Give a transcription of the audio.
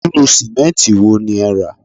Irú sìmẹ́ǹtì wo ni ẹ rà